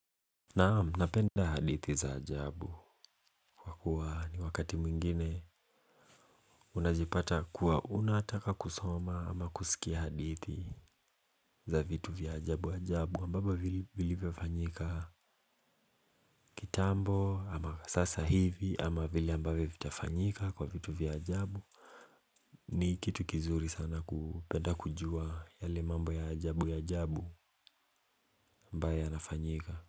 Naam, napenda hadithi za ajabu kwa kuwa ni wakati mwingine unajipata kuwa unataka kusoma ama kusikia hadithi za vitu vya ajabu ajabu ambavyo vilivyofanyika. Kitambo ama sasa hivi ama vile ambavyo vitafanyika kwa vitu vya ajabu. Ni kitu kizuri sana kupenda kujua yale mambo ya ajabu ajabu ambayo yanafanyika.